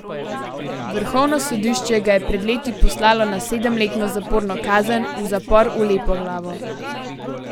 Vrhovno sodišče ga je pred leti poslalo na sedemletno zaporno kazen v zapor v Lepoglavo.